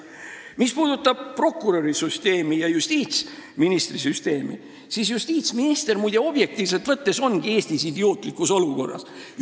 Mis puudutab prokuröri süsteemi ja justiitsministri süsteemi, siis justiitsminister objektiivselt võttes ongi Eestis idiootlikus olukorras.